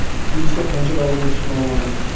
Missiya qancha davom etishi noma’lum.